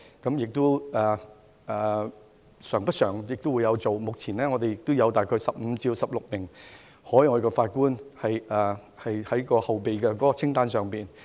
這是慣常做法，目前有大概15至16名海外法官在後備名單上。